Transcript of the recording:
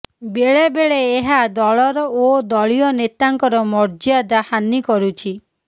ବେଳେବେଳେ ଏହା ଦଳର ଓ ଦଳୀୟ ନେତାଙ୍କର ମର୍ଯ୍ୟାଦା ହାନି କରୁଛି